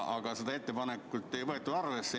Aga seda ettepanekut ei võetud arvesse.